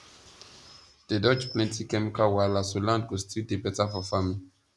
dey dodge plenty chemical wahala so land go still dey beta for farming